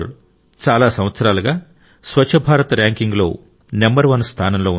మన ఇండోర్ చాలా సంవత్సరాలుగా స్వచ్ఛ భారత్ ర్యాంకింగ్లో నంబర్ వన్ స్థానంలో ఉంది